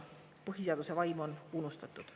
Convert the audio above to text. Põhiseaduse vaim on unustatud.